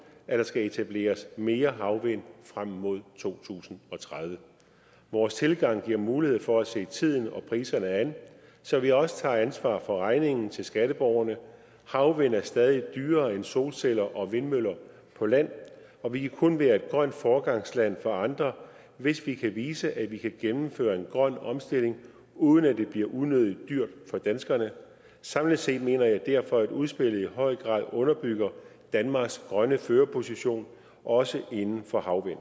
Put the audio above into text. at der skal etableres mere havvind frem mod to tusind og tredive vores tilgang giver mulighed for at se tiden og priserne an så vi også tager ansvar for regningen til skatteborgerne havvind er stadig dyrere end solceller og vindmøller på land og vi kan kun være et grønt foregangsland for andre hvis vi kan vise at vi kan gennemføre en grøn omstilling uden at det bliver unødigt dyrt for danskerne samlet set mener jeg derfor at udspillet i høj grad underbygger danmarks grønne førerposition også inden for havvind